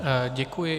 Děkuji.